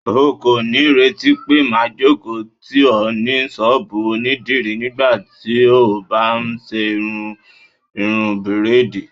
O kò ní retí pé máa jókòó tì ọ ní ṣọ́bùù onídìrí nígbàtí o bá ń ṣe irú irun bírádìì.